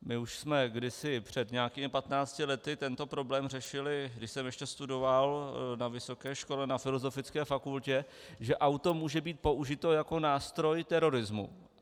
My už jsme kdysi, před nějakými 15 lety, tento problém řešili, když jsem ještě studoval, na vysoké škole, na filozofické fakultě, že auto může být použito jako nástroj terorismu.